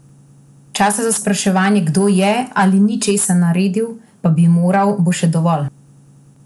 Časa za spraševanje, kdo je ali ni česa naredil, pa bi moral, bo še dovolj.